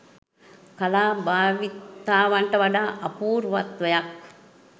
කලා භාවිතාවන්ට වඩා අපූර්වත්වයක්